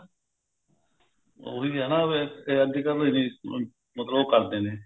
ਉਹੀ ਆ ਨਾ ਵੀ ਅੱਜਕਲ ਇਹਦੀ ਮਤਲਬ ਉਹ ਕਰਦੇ ਨੇ